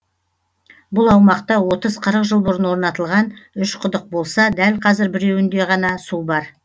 бұл аумақта отыз қырық жыл бұрын орнатылған үш құдық болса дәл қазір біреуінде ғана су бар